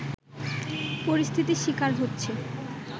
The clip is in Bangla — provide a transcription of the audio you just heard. পরিস্থিতির শিকার হচ্ছে